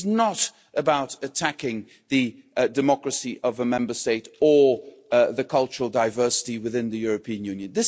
This is not about attacking the democracy of a Member State or the cultural diversity within the European Union.